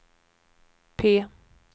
P